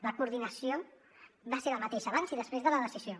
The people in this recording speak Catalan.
la coordinació va ser la mateixa abans i després de la decisió